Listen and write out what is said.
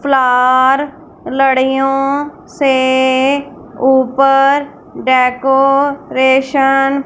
flour लड़ियों से ऊपर डेकोरेशन --